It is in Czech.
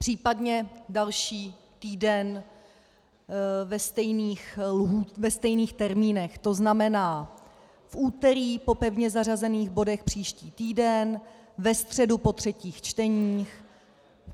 Případně další týden ve stejných termínech, to znamená, v úterý po pevně zařazených bodech příští týden, ve středu po třetích čteních.